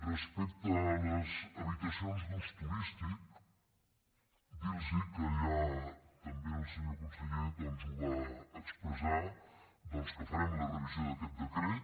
respecte a les habitacions d’ús turístic dir·los que ja també el senyor conseller va expressar que farem la revisió d’aquest decret